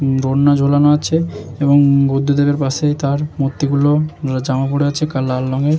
দোলনা ঝোলানো আছে এবং বুদ্ধদেবের পাশেই তার মূর্তি গুলো জামা পরে আছে কাল লাল রঙের।